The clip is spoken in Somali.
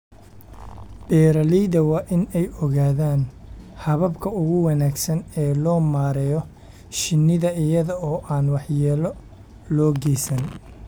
Beeralayda waa in ay ogaadaan hababka ugu wanaagsan ee loo maareeyo shinnida iyada oo aan waxyeello loo geysan.